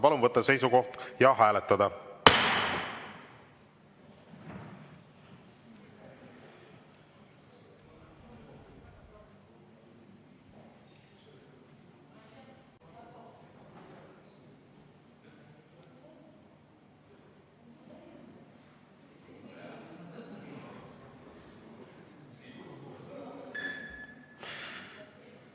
Palun võtta seisukoht ja hääletada!